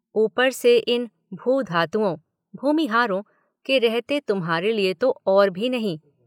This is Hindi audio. ऊपर से इन 'भू-धातुओं' (भूमिहारों) के रहते तुम्हारे लिए तो और भी नहीं।